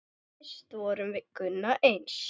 Fyrst vorum við Gunna eins.